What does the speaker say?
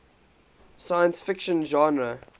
science fiction genre